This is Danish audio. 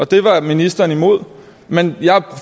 det var ministeren imod men jeg